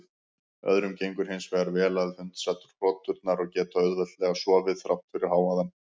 Öðrum gengur hins vegar vel að hundsa hroturnar og geta auðveldlega sofið þrátt fyrir hávaðann.